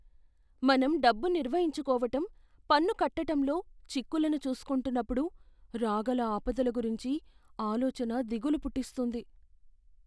మనం డబ్బు నిర్వహించుకోవటం, పన్నుకట్టటంలో చిక్కులను చూసుకుంటున్నప్పుడు రాగల ఆపదల గురించిన ఆలోచన దిగులు పుట్టిస్తుంది.